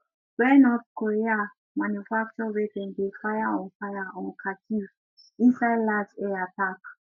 wey north korea manufacture wey dem fire on fire on kharkiv inside large air attack